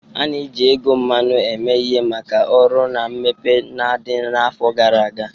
A na-eji ego mmanụ eme ihe maka ọrụ na mmepe na ndi afọ gara aga.